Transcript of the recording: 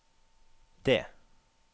D